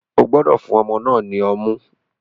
O gbọdọ fun ọmọ náà ni ọmu!